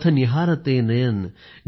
पथ निहारते नयन